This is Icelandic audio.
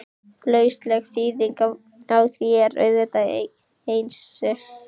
Lausleg þýðing á því er auðvitað Einsi!